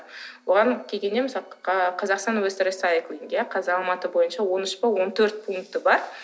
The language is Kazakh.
оған қазақстан қазір алматы бойынша он үш пе он төрт пункті бар